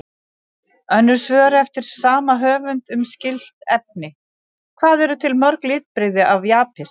Önnur svör eftir sama höfund um skyld efni: Hvað eru til mörg litbrigði af jaspis?